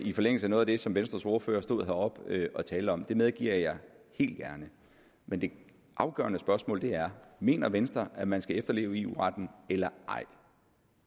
i forlængelse af noget af det som venstres ordfører stod heroppe og talte om det medgiver jeg gerne men det afgørende spørgsmål er mener venstre at man skal efterleve eu retten eller ej